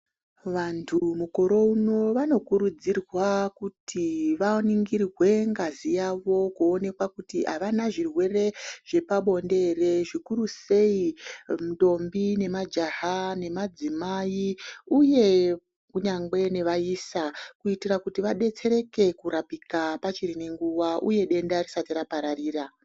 Vanthu mukore uno vanokurudzirwa kuti vaningirwe ngazi yavo kuonekwa kuti avana zvirwere zvepabonde ere, zvikurusei ntombi, nemajaha, nemadzimai uye kunyangwe nevaisa kuti vadetsereke kurapika pachine nguva, uye denda risati rapararira.